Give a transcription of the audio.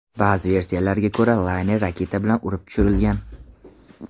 Ba’zi versiyalarga ko‘ra, layner raketa bilan urib tushirilgan.